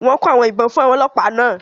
Wọ́n kó àwọn ìbọn fún ọlọ́pàá náà